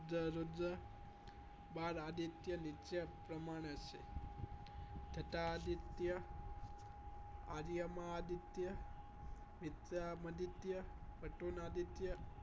રુદ્ર બાદ આદિત્ય નિત્ય પ્રમાણે છે તથા આદિત્ય આદિઅમા આદિત્ય મીત્યામાંદીત્ય કાતુંનાદીત્ય